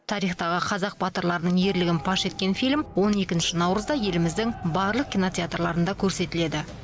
тарихтағы қазақ батырларының ерлігін паш еткен фильм он екінші наурызда еліміздің барлық кинотеатрларында көрсетіледі